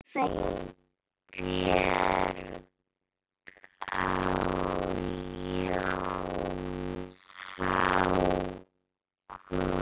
Laufey, Björg og Jón Hákon.